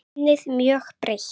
Ennið mjög breitt.